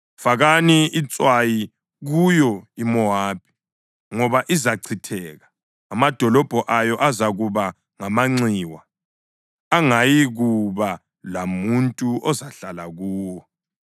Fakani itswayi kuyo iMowabi ngoba izachitheka; amadolobho ayo azakuba ngamanxiwa angayikuba lamuntu ozahlala kuwo.